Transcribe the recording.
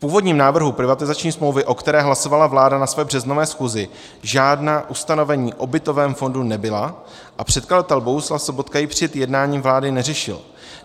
V původním návrhu privatizační smlouvy, o které hlasovala vláda na své březnové schůzi, žádná ustanovení o bytovém fondu nebyla a předkladatel Bohuslav Sobotka ji před jednáním vlády neřešil.